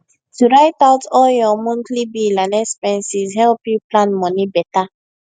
to write out all your monthly bill and expenses help you plan money better